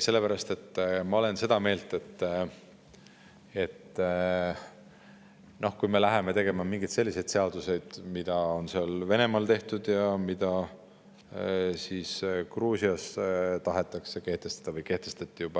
Sellepärast, et ma olen seda meelt, et kui me läheme tegema mingeid selliseid seaduseid, mida on Venemaal tehtud ja mida Gruusias tahetakse kehtestada või juba kehtestati,